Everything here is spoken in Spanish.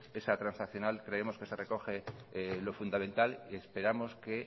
esa transaccional creemos que se recoge lo fundamental y esperamos que